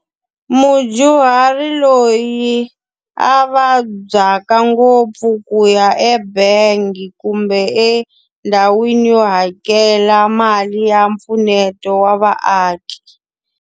Mudyuhari loyi a vabyaka ngopfu ku ya ebangi kumbe endhawini yo hakela mali ya mpfuneto wa vaaki.